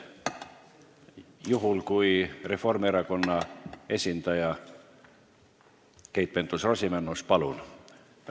Juhul, kui Reformierakonna esindaja on Keit Pentus-Rosimannus, siis palun!